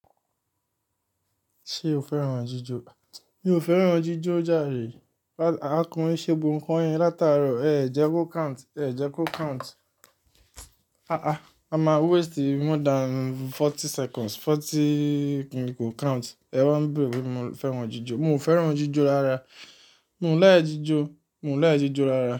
Ṣé o fẹ́ran jíjó? Mi ò fẹ́ran jíjọ jàre Akọrin ṣé bu nǹkan yẹn látàárọ̀. Ẹ jẹ kó count, Ẹ jẹ kó count. Aàá, a máa waste more than forty seconds, forty mi kò count. Ẹ wa ń béèrè pé ṣé mo fẹ́ran jíjọ. Mo ò fẹ́ran jíjọ rárá. Mo ń lẹ́ẹ́jò, mo ń lẹ́ẹ́jò rárá.